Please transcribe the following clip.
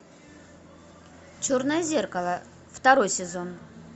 черное зеркало второй сезон